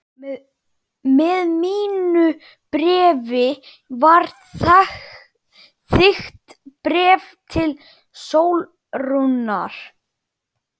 Með mínu bréfi var þykkt bréf til Sólrúnar.